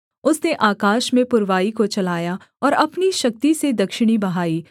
उसने आकाश में पुरवाई को चलाया और अपनी शक्ति से दक्षिणी बहाई